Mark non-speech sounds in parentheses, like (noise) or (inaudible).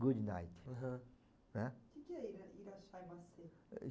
Good night. Aham. Né? O que que é (unintelligible)